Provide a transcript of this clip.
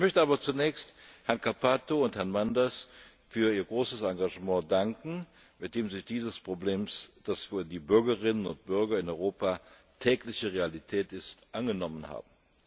Ich möchte aber zunächst Herrn Cappato und Herrn Manders für ihr großes Engagement danken, mit dem sie sich dieses Problems, das für die Bürgerinnen und Bürger in Europa tägliche Realität ist, angenommen haben.